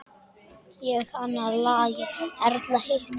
Ég annað lagið, Erla hitt!